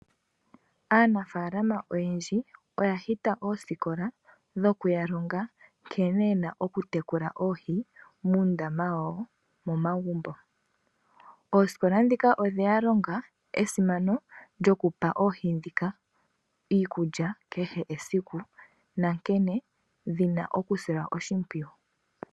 Aanafalama oyendji oya hita ooskola dhokuyalonga nkene yena okutekula oohi muundama wawo momagumbo. Ooskola dhika odheya longa esimano lyokupa oohi dhika iikulya kehe esiku nankene dhina okusilwa oshimpwiyu.